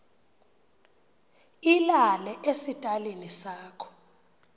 ilale esitalini sakho